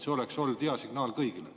See oleks olnud hea signaal kõigile.